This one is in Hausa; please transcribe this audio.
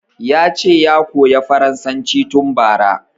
Yace ya koya farasanci tun bara